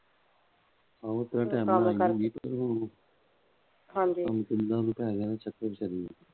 ਹਾਂਜੀ,